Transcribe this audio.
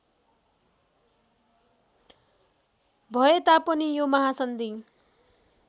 भए तापनि यो महासन्धि